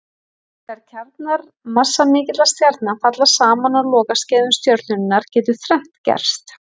Þegar kjarnar massamikilla stjarna falla saman á lokaskeiðum stjörnunnar getur þrennt gerst.